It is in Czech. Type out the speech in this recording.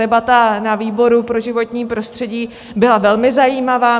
Debata na výboru pro životní prostředí byla velmi zajímavá.